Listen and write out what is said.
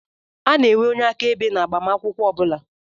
A na-enwe onye aka-ebe na agbamakwụkwọ ọbula.